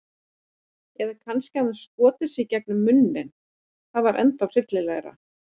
Eða kannski hann hafi skotið sig gegnum munninn- það var ennþá hryllilegra.